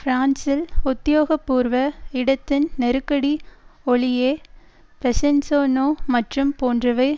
பிரான்சில் உத்தியோகபூர்வ இடதின் நெருக்கடி ஒலியே பெசன்ஸநோ மற்றும் போன்றவை